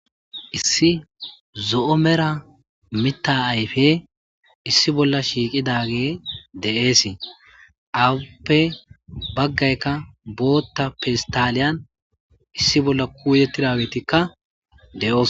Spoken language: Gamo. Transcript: issi zo7o mera mita ayfe issi bolla shiiqidage de7eesii awuppe baggaykka bootta peistaliyan issi bolla kuuyettidagetikka de7oos